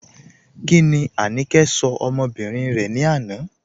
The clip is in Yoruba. Kíni Áníkẹ̀ ṣọ̀ ọmọ́bìrín rẹ̀ ni àná?